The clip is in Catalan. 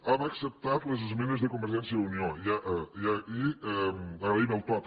hem acceptat les esmenes de convergència i unió i agraïm el to també